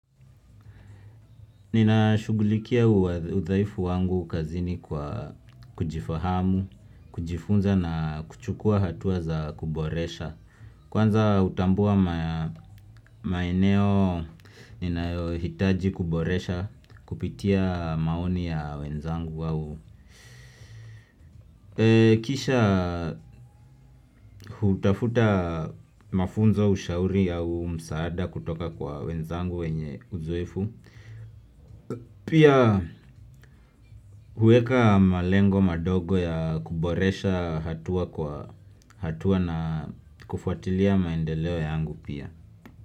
Ninashughulikia udhaifu wangu kazini kwa kujifahamu, kujifunza na kuchukua hatua za kuboresha. Kwanza hutambua maeneo ninayohitaji kuboresha kupitia maoni ya wenzangu au. Kisha hutafuta mafunzo, ushauri au msaada kutoka kwa wenzangu wenye uzoefu. Pia huweka malengo madogo ya kuboresha hatua na kufuatilia maendeleo yangu pia.